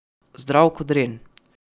Zdrav ko dren.